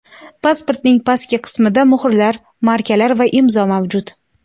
Pasportning pastki qismida muhrlar, markalar va imzo mavjud.